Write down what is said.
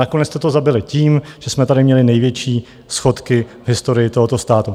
Nakonec jste to zabili tím, že jsme tady měli největší schodky v historii tohoto státu.